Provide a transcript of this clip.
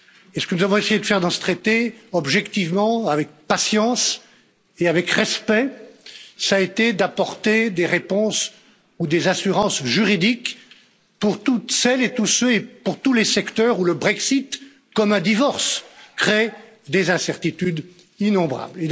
Ce que nous avons essayé de faire dans ce traité, objectivement, avec patience et avec respect, a été d'apporter des réponses ou des assurances juridiques pour toutes celles et tous ceux et pour tous les secteurs où le Brexit, comme un divorce, crée des incertitudes innombrables.